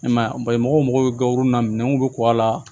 I man ye ba ye mɔgɔ mago bɛ gawo na minɛnw bi ku a la